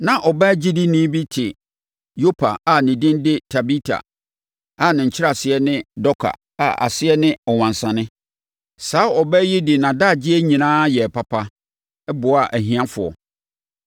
Na ɔbaa ogyedini bi te Yopa a ne din de Tabita a ne nkyerɛaseɛ ne Dorka a aseɛ ne ɔwansane. Saa ɔbaa yi de nʼadagyeɛ nyinaa yɛɛ papa, boaa ahiafoɔ.